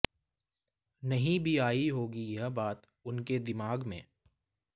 नहीं भी आयी होगी यह बात उनके दिमाग़ में